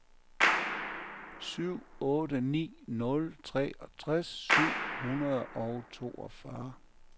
syv otte ni nul treogtres syv hundrede og toogfyrre